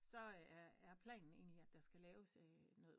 Så er planen egentlig at der skal laves noget